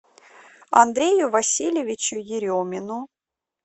андрею васильевичу еремину